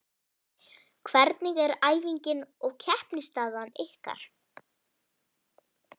Hvernig er æfinga og keppnisaðstaða ykkar?